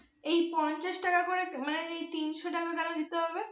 এই পঞ্চাশ টাকা করে মানে তিনশো টাকা কেন দিতে হবে?